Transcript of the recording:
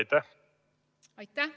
Aitäh!